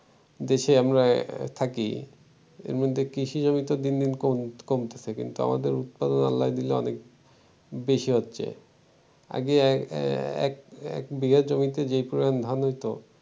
দেশে আমরা থাকি এরমধ্যে কৃষিজমি তো দিন দিন কম~কমতেছে আমাদের উৎপাদন আল্লায় দিলে অনেক বেশি হচ্ছে আগে এক বিঘা জমিতে যেই পরিমাণ ধান হইত